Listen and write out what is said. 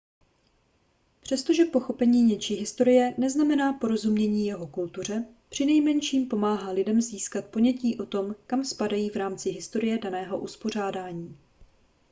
přestože pochopení něčí historie neznamená porozumění jeho kultuře přinejmenším pomáhá lidem získat ponětí o tom kam spadají v rámci historie daného uspořádání